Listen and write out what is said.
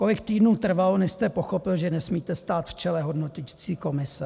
Kolik týdnů trvalo, než jste pochopil, že nesmíte stát v čele hodnoticí komise?